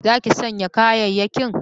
Za ki shanya kayayyakin?